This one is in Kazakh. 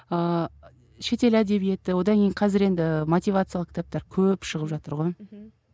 ыыы шетел әдебиеті одан кейін қазір енді мотивациялық кітаптар көп шығып жатыр ғой мхм